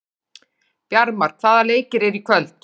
Bjarmar, hvaða leikir eru í kvöld?